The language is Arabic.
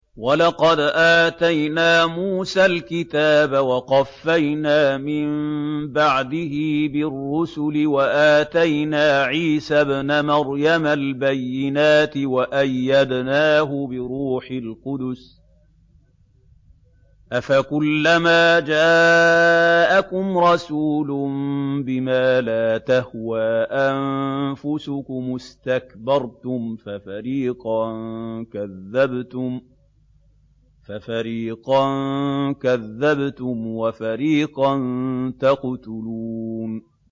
وَلَقَدْ آتَيْنَا مُوسَى الْكِتَابَ وَقَفَّيْنَا مِن بَعْدِهِ بِالرُّسُلِ ۖ وَآتَيْنَا عِيسَى ابْنَ مَرْيَمَ الْبَيِّنَاتِ وَأَيَّدْنَاهُ بِرُوحِ الْقُدُسِ ۗ أَفَكُلَّمَا جَاءَكُمْ رَسُولٌ بِمَا لَا تَهْوَىٰ أَنفُسُكُمُ اسْتَكْبَرْتُمْ فَفَرِيقًا كَذَّبْتُمْ وَفَرِيقًا تَقْتُلُونَ